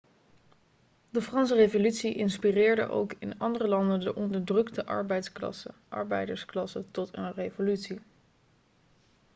de franse revolutie inspireerde ook in andere landen de onderdrukte arbeidersklasse tot een revolutie